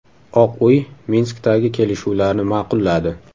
Oq uy Minskdagi kelishuvlarni ma’qulladi.